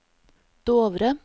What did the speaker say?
Dovre